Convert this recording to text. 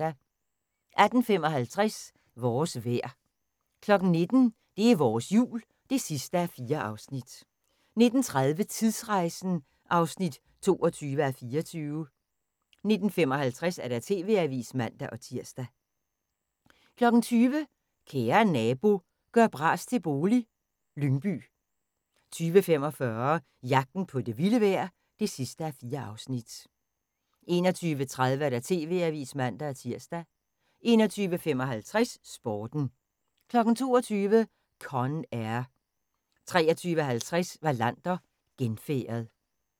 18:55: Vores vejr 19:00: Det er vores Jul (4:4) 19:30: Tidsrejsen (22:24) 19:55: TV-avisen (man-tir) 20:00: Kære nabo – gør bras til bolig - Lyngby 20:45: Jagten på det vilde vejr (4:4) 21:30: TV-avisen (man-tir) 21:55: Sporten 22:00: Con Air 23:50: Wallander: Genfærdet